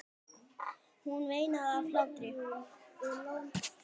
Hún veinaði af hlátri.